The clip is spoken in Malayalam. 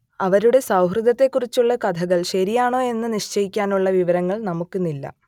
അവരുടെ സൗഹൃദത്തെക്കുറിച്ചുള്ള കഥകൾ ശരിയാണോ എന്ന് നിശ്ചയിക്കാനുള്ള വിവരങ്ങൾ നമുക്കിന്നില്ല